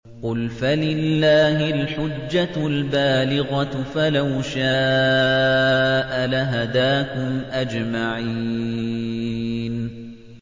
قُلْ فَلِلَّهِ الْحُجَّةُ الْبَالِغَةُ ۖ فَلَوْ شَاءَ لَهَدَاكُمْ أَجْمَعِينَ